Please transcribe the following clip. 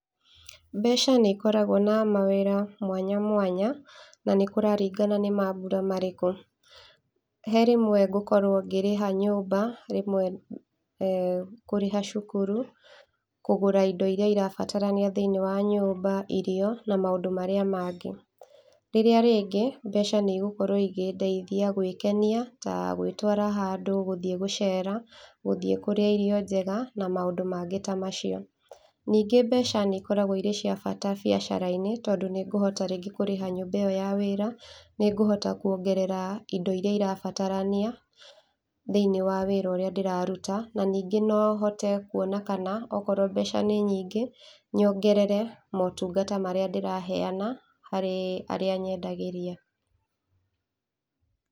Mbeca nĩikoragwo na mawĩra mwanya mwanya na nĩkũraringana nĩ mambura marĩkũ. He rĩmwe ngũkorwo ngĩrĩha nyũmba, rĩmwe kũ kũrĩha cukuru, kũgũra indo iria irabatarania thĩiniĩ wa nyũmba, irio na maũndũ marĩa mangĩ. Rĩrĩa rĩngĩ mbeca nĩigũkorwo ikĩndeithia gwĩkenia ta gwĩtwara handũ gũthiĩ gũcera gũthiĩ kũrĩa irio njega na maũndũ mangĩ ta macio. Ningĩ mbeca nĩikoragwo irĩ cia bata biacara-inĩ tondũ nĩngũhota rĩngĩ kũrĩha nyũmba ĩyo ya wĩra, nĩngũhota kwongerera indo iria irabatarania thĩiniĩ wa wĩra ũrĩa ndĩraruta, ningĩ nohote kwona kana okorwo mbeca nĩ nyingĩ nyongerere motungata marĩa ndĩraheana harĩ arĩa nyendagĩria.